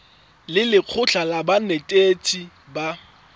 le lekgotlha la banetetshi ba